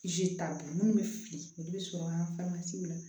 t'a bolo minnu bɛ fili olu bɛ sɔrɔ an la